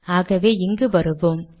ஆகவே இங்கு வருவோம்